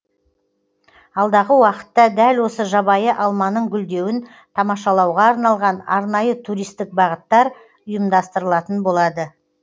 алдағы уақытта дәл осы жабайы алманың гүлдеуін тамашалауға арналған арнайы туристік бағыттар ұйымдастырылатын болады